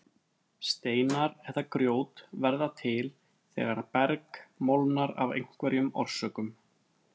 Steinar eða grjót verða til þegar berg molnar af einhverjum orsökum.